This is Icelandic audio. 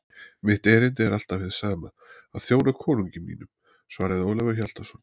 Mitt erindi er alltaf hið sama: að þjóna konungi mínum, svaraði Ólafur Hjaltason.